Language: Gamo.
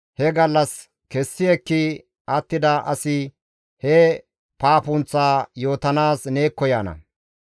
he gallas kessi ekki attida asi he paapunththaa yootanaas neekko yaana.